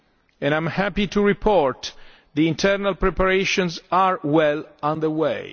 and I am happy to report the internal preparations are well underway.